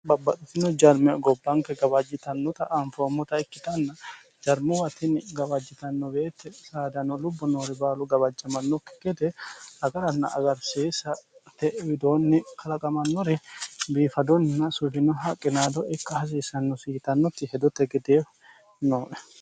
babbaxxitino jarme gobbanke gabaajjitannota anfoommota ikkitanna jarmuwatini gabaajjitanno beette saadano lubbu noori baalu gabaajjamannokki gede hagaranna agarseisate widoonni kalaqamannori biifadonnina sujinoha qinaado ikka hasiisannosi yitannotti hedotte gedeehu nooe